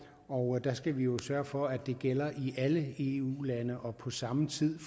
og der skal vi jo sørge for at det gælder i alle eu lande og på samme tid